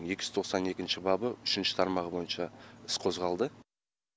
екі жүз тоқсан екінші бабы үшінші тармағы бойынша іс қозғалды